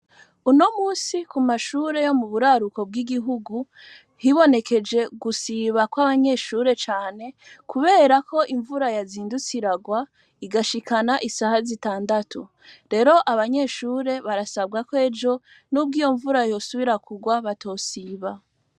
Unomusi kumashure yo muburaruko bwigihugu hibonekeje gusiba kwabanyeshure cane kubera ko imvura yazindutse iragwa igashikana isaha zitandatu. Rero abanyeshure barasabwa ko ejo nubwo iyo mvura yosubira kugwa batosiba.